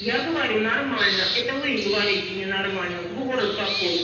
я говорю нормально это вы говорите ненормально город какой